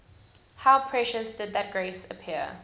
how precious did that grace appear